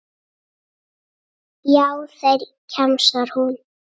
Já, þeir, kjamsar hún.